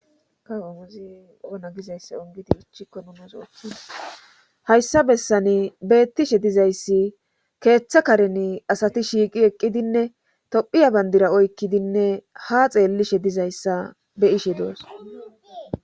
Ka omuzi ona gizayssa ongidi ichikko numas ooththona hayssa bessani beettishe dizayssi keeththa karen asati shiiqi eqqidinne tophiya bandira oykkidinne ha xeellishe dizayssa be ishe doos